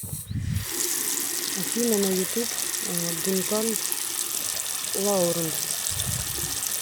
афина на ютуб дункан лауренс